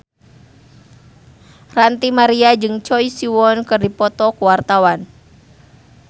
Ranty Maria jeung Choi Siwon keur dipoto ku wartawan